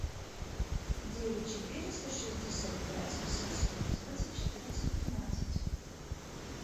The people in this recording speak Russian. девять четыреста шестьдесят пять восемьсот одиннадцать четырнадцать тринадцать